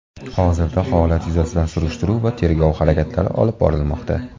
Hozirda holat yuzasidan surishtiruv va tergov harakatlari olib borilmoqda.